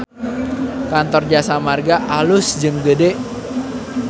Kantor Jasa Marga alus jeung gede